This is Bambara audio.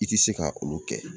I tɛ se ka olu kɛ.